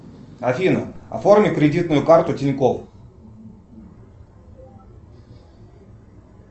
афина оформи кредитную карту тинькофф